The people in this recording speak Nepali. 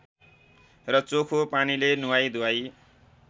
र चोखो पानीले नुहाई धुवाई